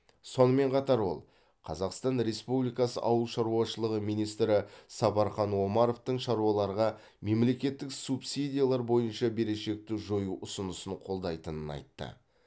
сонымен қатар ол қазақстан республикасы ауыл шаруашылығы министрі сапархан омаровтың шаруаларға мемлекеттік субсидиялар бойынша берешекті жою ұсынысын қолдайтынын айтты